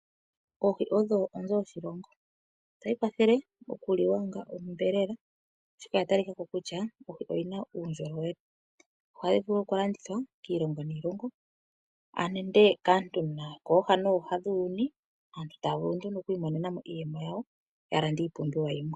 Oohi odho onzo yeliko lyoshilongo. Otadhi kwathele okuliwa onga onyama, oshoka odha talika ko kutya oohi odhi na uundjolowele. Ohadhi vulu okulandithwa kiilongo niilongo nenge kaantu yokooha nooha dhuuyuni, aantu taya vulu nduno okuimonena mo iiyemo yawo ya lande iipumbiwa yilwe.